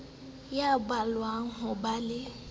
ya belaellwang ho ba le